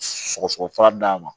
Sɔgɔsɔgɔ fura d'a ma